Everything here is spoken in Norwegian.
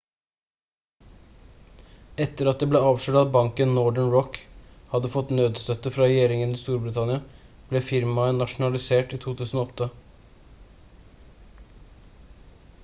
etter at det ble avslørt at banken northern rock hadde fått nødstøtte fra regjeringen i storbritannia ble firmaet nasjonalisert i 2008